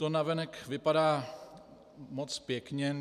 To navenek vypadá moc pěkně.